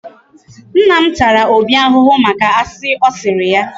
Nna m tara Obi ahụhụ maka asị ọ sịrị ya.